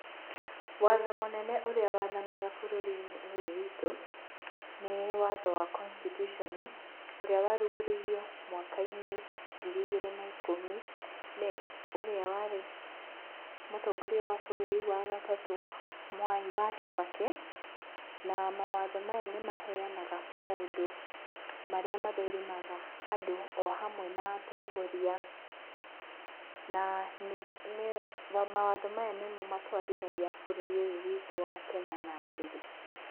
Watho mũnene ũrĩa wathanaga bũrũri-inĩ ũyũ witũ nĩ watho wa constitution ũrĩa warugũririo mwakainĩ wa ngiri igĩrĩ na ikũmi, nĩ ũrĩa warĩ mũtongoria wa bũrũri wa gatatũ Mwai wa Kibaki, na mawatho maya nĩ maheanaga maũndũ marĩa mathũrimaga andũ o hamwe na atongoria na mawatho maya nĩmo matwarithagia bũrũri ũyũ witũ wa Kenya na mbere.